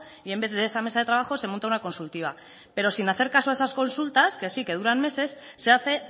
y en vez de esa mesa de trabajo se monta una consultiva pero sin hacer a esas consultas que sí que duran meses se hace